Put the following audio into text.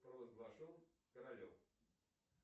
провозглашен королем